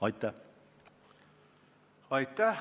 Aitäh!